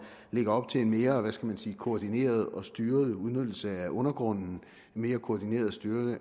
lægger op til en mere hvad skal man sige koordineret og styret udnyttelse af undergrunden og mere koordineret styrelse